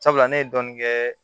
Sabula ne ye dɔɔnin kɛ